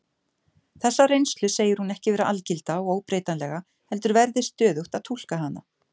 Þessa reynslu segir hún ekki vera algilda og óbreytanlega heldur verði stöðugt að túlka hana.